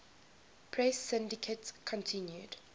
press syndicate continued